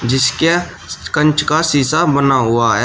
जिसके कांच का शिशा बना हुआ है।